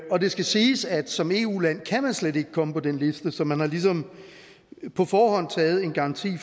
er det skal siges at som eu land kan man slet ikke komme på den liste så man har ligesom på forhånd garanteret